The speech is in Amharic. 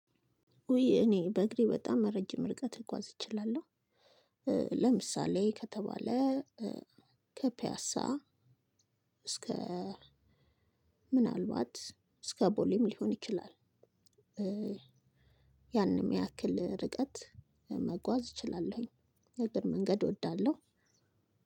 ኡይ እኔ በእግሬ በጣም ረጅም ርቀት ልጓዝ እችላለሁ። ለምሳሌ ከተባለ ከፒያሳ እስከ ምናልባት እስከ ቦሌም ሊሆን ይችላል። ያንም ያክል ርቀት መጓዝ እችላለሁኝ። የእግር መንገድ እወዳለሁ።